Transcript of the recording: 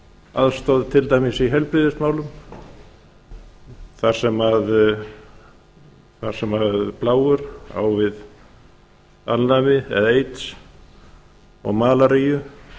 aðstoð til dæmis í heilbrigðismálum þar sem plágur á við alnæmi eða aids og malaríu